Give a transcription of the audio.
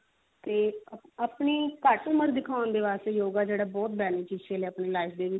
ਤੇ ਆਪਣੀ ਘੱਟ ਉਮਰ ਦਿਖਾਉਣ ਦੇ ਵਾਸਤੇ yoga ਜਿਹੜਾ ਬਹੁਤ beneficial ਹੈ ਆਪਣੀ life ਦੇ